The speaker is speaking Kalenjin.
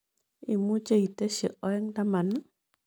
Imuche itesyi oeng' taman ii